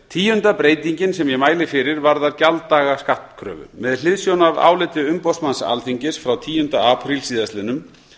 tíunda breytingin sem ég mæli fyrir varðar gjalddaga skattkröfu með hliðsjón af áliti umboðsmanns alþingis frá tíunda apríl síðastliðnum